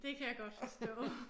Det kan jeg godt forstå